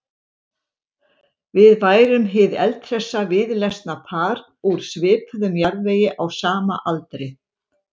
Við værum hið eldhressa víðlesna par úr svipuðum jarðvegi á sama aldri.